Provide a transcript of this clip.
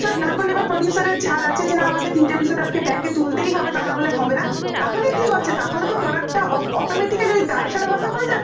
এবার producer র ছাড় আছে যে আমাকে তিনটে episode ব্যাংকে তুলতেই হবে তা না হলে হবে না তাহলে কি হচ্ছে তাহলে তো product automatically দায়ী সেরা ভাবে হয়ে যাচ্ছে